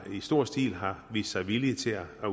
stor stil har vist sig villige til at